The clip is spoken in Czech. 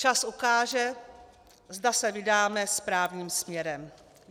Čas ukáže, zda se vydáme správným směrem.